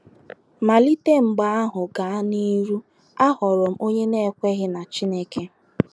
Malite mgbe ahụ gaa n’ihu, aghọrọ m onye na - ekweghị na Chineke.